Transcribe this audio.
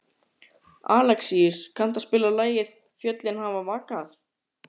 Alexíus, kanntu að spila lagið „Fjöllin hafa vakað“?